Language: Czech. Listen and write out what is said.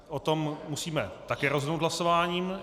O tom musíme také rozhodnout hlasováním.